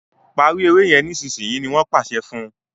parí èrè yén nísìsiyìí! ní wón pàṣẹ fún.